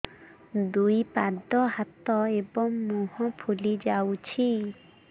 ଦୁଇ ପାଦ ହାତ ଏବଂ ମୁହଁ ଫୁଲି ଯାଉଛି